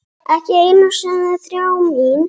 Ekki einu sinni þrá mín.